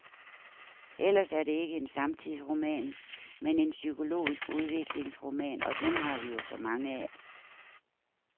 Ellers er det ikke en samtidsroman, men en psykologisk udviklingsroman, og dem har vi jo så mange af.